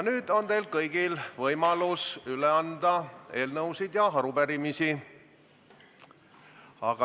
Nüüd on teil kõigil võimalus üle anda eelnõusid ja arupärimisi.